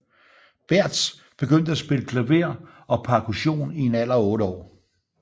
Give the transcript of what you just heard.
Bärtsch begyndte at spille klaver og percussion i en alder af 8 år